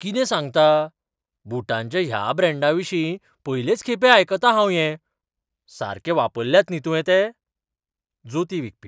कितें सांगता? बुटांच्या ह्या ब्रँडाविशीं पयलेच खेपे आयकतां हांव हें. सारके वापरल्यात न्ही तुवें ते? जोतीं विकपी